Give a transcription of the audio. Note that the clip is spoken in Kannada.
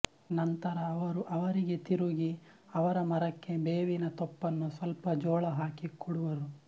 ನಂತರ ಅವರು ಅವರಿಗೆ ತಿರುಗಿ ಅವರ ಮರಕ್ಕೆ ಬೇವಿನ ತೊಪ್ಪಲು ಸ್ವಲ್ಪ ಜೋಳ ಹಾಕಿ ಕೊಡುವರು